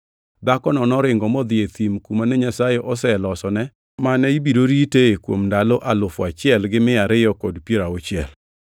Dhakono noringo modhi e thim kuma ne Nyasaye oselosone mane ibiro ritee kuom ndalo alufu achiel gi mia ariyo kod piero auchiel.